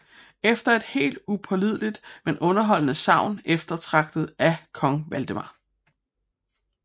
Efter et helt upålideligt men underholdende sagn eftertragtet af kong Valdemar